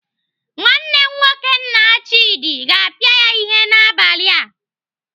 Nwanne nwoke nna Chimdi ga-apịa ya ihe n'abalị a.